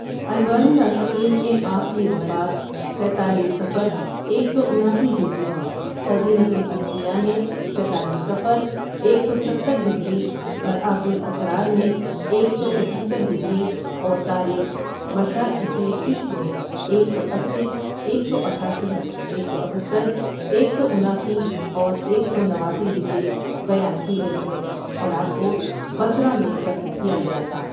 انوار العاشقین میں آپ کی وفات ستالیس صفر ایک سو اناسی ہجری میں خزینۃ الاصفیاء میں ستالیس صفر ایک سو ستہر ہجری مرأۃ الاسرار میں ایک سو اکہترہجری اور تاریخ مشائخ چشت میں ایک سو اسی ، ایک سو اٹھاسی، ایک سو اتھتر، ایک سو اناسی اور ایک سو نواسی ہجری بیان کی گئی ہے اور آپ کو بصرہ میں دفن کیا گیا تھا ۔